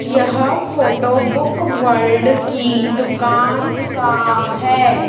यह photo Book World की दुकान का है।